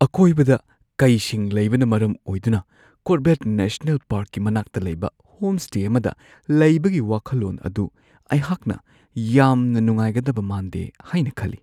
ꯑꯀꯣꯏꯕꯗ ꯀꯩꯁꯤꯡ ꯂꯩꯕꯅ ꯃꯔꯝ ꯑꯣꯏꯗꯨꯅ ꯀꯣꯔꯕꯦꯠ ꯅꯦꯁꯅꯦꯜ ꯄꯥꯔ꯭ꯛꯀꯤ ꯃꯅꯥꯛꯇ ꯂꯩꯕ ꯍꯣꯝꯁ꯭ꯇꯦ ꯑꯃꯗ ꯂꯩꯕꯒꯤ ꯋꯥꯈꯜꯂꯣꯟ ꯑꯗꯨ ꯑꯩꯍꯥꯛꯅ ꯌꯥꯝꯅ ꯅꯨꯡꯉꯥꯏꯒꯗꯕ ꯃꯥꯟꯗꯦ ꯍꯥꯏꯅ ꯈꯜꯂꯤ ꯫